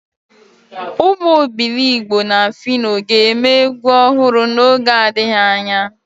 Umu Obiligbo na Fino ga-eme egwu ohuru n'oge adighi anya.